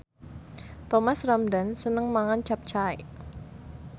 Thomas Ramdhan seneng mangan capcay